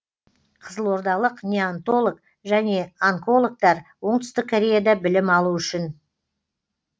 қызылордалық неонтолог және онкологтар оңтүстік кореяда білім алу үшін